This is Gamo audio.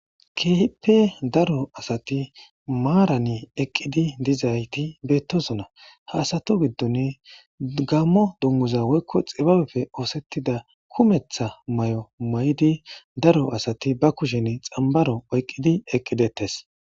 Keehippe daro asati maarani eqqidi dizayti beettosona haasato giddon gammo dummuza woykko xibabefe oosettida kumetha may'o may'di daro asati ba kushen xambaro oyqqidi eqqidettes.